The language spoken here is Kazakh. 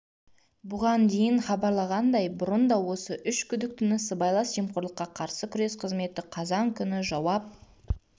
бұған дейін хабарланғандйа бұрын да осы үш күдіктіні сыбайлас жемқорылыққа қарсы күрес қызметі қазан күні жауап